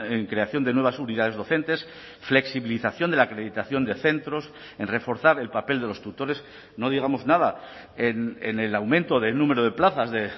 en creación de nuevas unidades docentes flexibilización de la acreditación de centros en reforzar el papel de los tutores no digamos nada en el aumento del número de plazas de